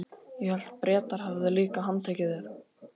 Ég hélt að Bretar hefðu líka handtekið þig?